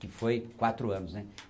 Que foi quatro anos, né?